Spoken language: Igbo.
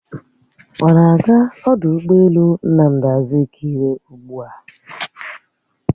Ọ na-aga ọdụ ụgbọelu Nnamdi Azikiwe ugbua?